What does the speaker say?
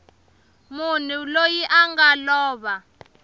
munhu loyi a nga lova